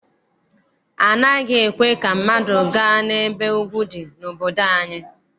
Anaghị ekwe ka mmadụ gaa n'ebe ugwu dị n'obodo anyị.